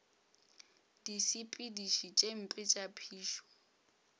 disepediši tše mpe tša phišo